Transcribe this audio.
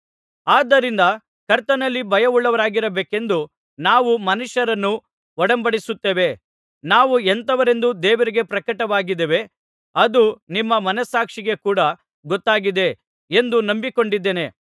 ಆದ್ದರಿಂದ ಕರ್ತನಲ್ಲಿ ಭಯವುಳ್ಳವರಾಗಿರಬೇಕೆಂದು ನಾವು ಮನುಷ್ಯರನ್ನು ಒಡಂಬಡಿಸುತ್ತೇವೆ ನಾವು ಎಂಥವರೆಂದು ದೇವರಿಗೆ ಪ್ರಕಟವಾಗಿದ್ದೇವೆ ಅದು ನಿಮ್ಮ ಮನಸ್ಸಾಕ್ಷಿಗೆ ಕೂಡಾ ಗೊತ್ತಾಗಿದೆ ಎಂದು ನಂಬಿಕೊಂಡಿದ್ದೇನೆ